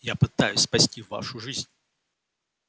я пытаюсь спасти вашу жизнь